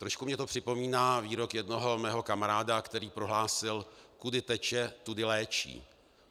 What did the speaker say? Trošku mi to připomíná výrok jednoho mého kamaráda, který prohlásil: "Kudy teče, tudy léčí."